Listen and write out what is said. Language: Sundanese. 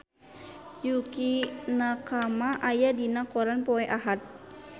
Yukie Nakama aya dina koran poe Ahad